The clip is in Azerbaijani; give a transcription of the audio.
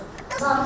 Allaha and olsun.